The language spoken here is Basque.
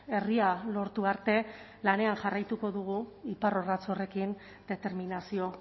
herria lortu arte lanean jarraituko dugu iparrorratz horrekin determinazio